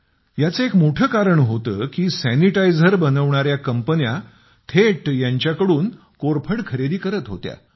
याचं एक मोठं कारण हे होतं की सॅनिटायझर बनविणाऱ्या कंपन्या थेट यांच्याकडून कोरफड खरेदी करत होत्या